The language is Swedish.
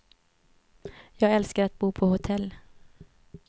Jag älskar att bo på hotell.